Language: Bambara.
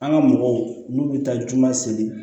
An ka mɔgɔw n'u bi taa juman seli